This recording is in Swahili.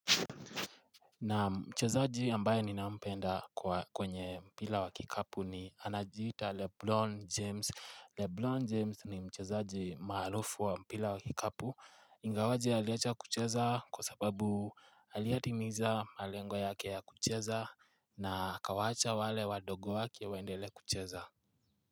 Na mchezaaji ambaye ninampenda kwenye mpira wa kikapu ni anajita LeBron James. LeBron James ni mchezaji maharufi wa mpira wa kikapu. Ingawaje aliecha kucheza kwa sababu aliatimiza malengwa yake ya kucheza na kawaacha wale wadogo wake waendele kucheza.